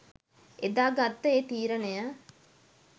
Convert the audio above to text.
එදා ගත්ත ඒ තීරණය